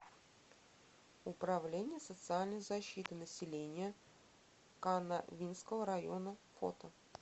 управление социальной защиты населения канавинского района фото